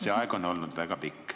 See aeg on olnud väga pikk.